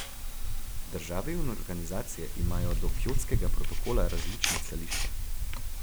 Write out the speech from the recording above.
Države in organizacije imajo do Kjotskega protokola različna stališča.